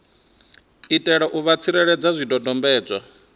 itela u vha tsireledza zwidodombedzwa